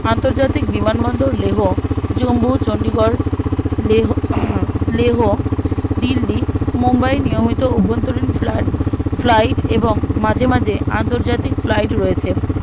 আন্তর্জাতিক বিমান বন্দর লেহো জম্মু ও চন্ডিগড় লেহো আহ লেহো দিল্লী ও মুম্বাই নিয়মিত অভন্তরীত flight এবং মাঝেমাঝে আন্তর্জাতিক flight রয়েছে